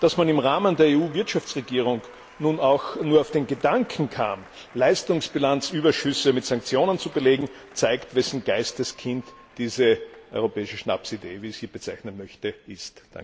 Dass man im Rahmen der EU Wirtschaftsregierung nun auch nur auf den Gedanken kam, Leistungsbilanzüberschüsse mit Sanktionen zu belegen, zeigt, wes Geistes Kind diese europäische Schnapsidee wie ich sie bezeichnen möchte ist.